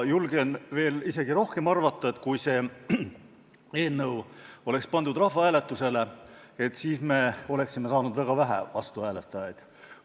Julgen arvata isegi veel rohkem – kui see eelnõu oleks pandud rahvahääletusele, siis me oleksime saanud väga vähe vastuhääletajaid.